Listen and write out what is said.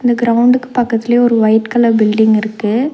இந்த கிரவுண்டுக்கு பக்கத்துலயே ஒரு ஒயிட் கலர் பில்டிங் இருக்கு.